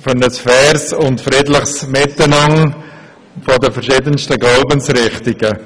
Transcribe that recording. für ein faires und friedliches Miteinander der verschiedensten Glaubensrichtungen.